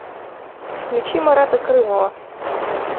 включи марата крымова